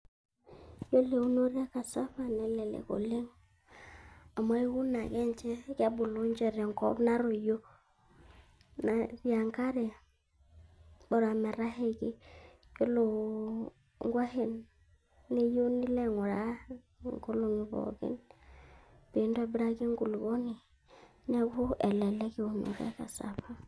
Ore eiunoto ekasava nelelek oleng, amu ore na ninche na kebulu tenkop natoyio nati enkare bora metashaiki, yiolo inkuashen neyieu nilo ainguraa inkolongi pooki peintobiraki enkulupuoni niaku elelek eiunoto ekasava.